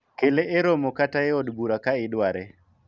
kele e romo kata e od bura ka idware